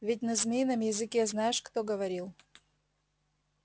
ведь на змеином языке знаешь кто говорил